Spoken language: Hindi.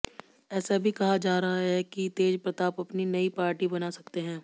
ऐसा भी कहा जा रहा है कि तेज प्रताप अपनी नई पार्टी बना सकते हैं